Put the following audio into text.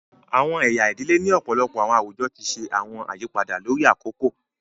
Awọn ẹya ìdílé ni ọpọlọpọ awọn awujọ ti ṣe awọn àyípadà lórí akoko